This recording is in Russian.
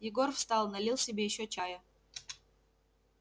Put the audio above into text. егор встал налил себе ещё чая